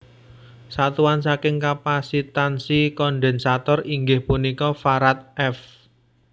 Satuan saking kapasitansi kondensator inggih punika Farad F